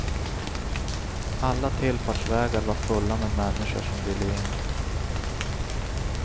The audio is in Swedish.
Alla tillfartsvägar var fulla med människor som ville in.